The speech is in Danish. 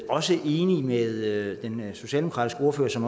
også enig med den socialdemokratiske ordfører som